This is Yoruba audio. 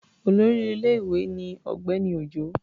Olórí ilé-ìwé ni Ọ̀gbẹ́ni Òjó.